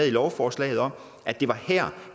lovforslaget at det var her